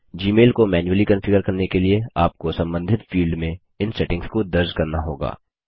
Gmail को manually configure करने के लिए आपको संबंधित फील्ड में इन सेटिंग्स को दर्ज़ करना होगा